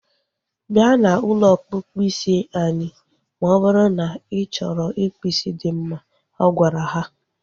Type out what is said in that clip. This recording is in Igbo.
Bịa na ụlọ ọkpụkpụ isi anyị ma ọ bụrụ na ị chọrọ ịkpụ isi dị mma. Ọ gwara ha